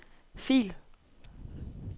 fil